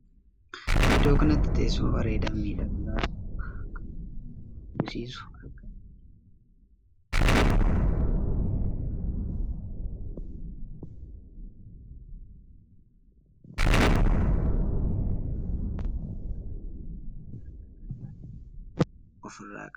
Iddoo kanatti teessuma bareedaa fi miidhagaa kan baay'ee nama hawwisiisu argaa jirran. akkasumas teessumni kun teessuma hirkoo bareeddu miilla afur kan qabdudha. teessumni kun teessuma bareedduu bifti isaa diimaa kan taheedha. teessumni kun mataa Isaa irratti akka qal'aa tahee of irra qaba.